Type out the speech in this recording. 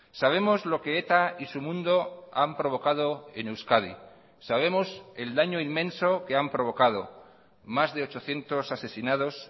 sabemos lo que eta y su mundo han provocado en euskadi sabemos el daño inmenso que han provocado más de ochocientos asesinados